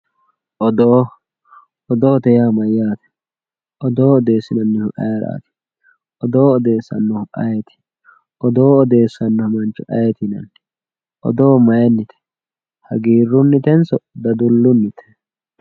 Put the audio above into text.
Odoo odoote yaa mayate odoo odesinanihu ayirati odoo odesanohu ayiti odoo odesano mancho ayiti yinani odoo mayinite hagirunitenso dadilunite.